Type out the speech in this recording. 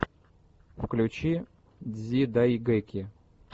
включи дзидайгэки